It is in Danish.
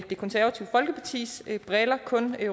det konservative folkeparti kun